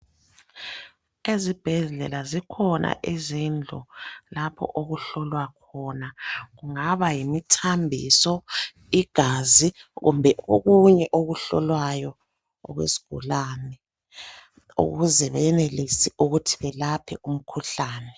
Ezibhedlela zikhona izindlu lapho okuhlolwa khona kungaba yimithambiso, igazi kumbe okunye okuhlolwayo okwesigulane ukuze benelise belaphe umkhuhlane.